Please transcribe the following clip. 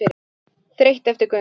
Þreytt eftir gönguna.